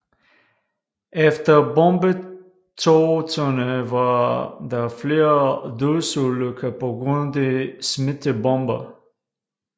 Efter bombetogterne var der flere dødsulykker pga de smidte bomber